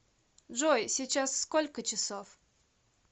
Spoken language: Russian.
джой сейчас сколько часов